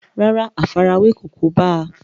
rárá, àfarawé kò kóbá a